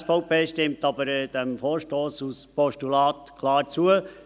Die SVP stimmt aber dem Vorstoss als Postulat klar zu.